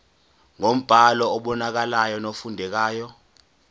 ngombhalo obonakalayo nofundekayo